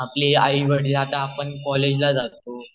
आपले आई वडील आता आपण कॉलेजला जातो